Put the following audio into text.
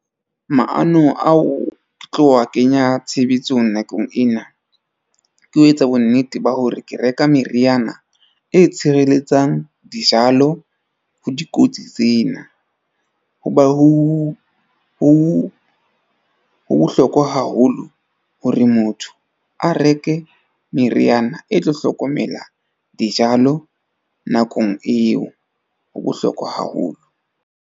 Maanong ao tlo a kenya tshebetsong nakong ena, ke ho etsa bonnete ba hore ke reka meriana e tshireletsang dijalo ho dikotsi tsena. Ho ba ho bohlokwa haholo hore motho a reke meriana e tlo hlokomela dijalo nakong eo ho bohlokwa haholo.